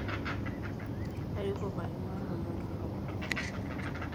airuko peyie aingua ilom torok